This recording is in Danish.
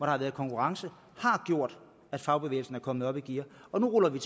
har været konkurrence har gjort at fagbevægelsen er kommet op i gear nu ruller vi